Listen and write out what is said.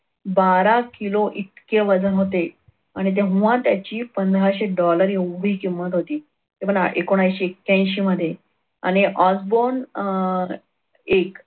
बारा किलो इतके वजन होते आणि तेव्हा त्याची पंधराशे dollar एवढी किंमत होती ते पण एकोणविशे ऐक्यांशी मध्ये आणि Osborn अह एक